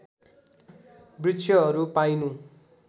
वृक्षहरू पाइनु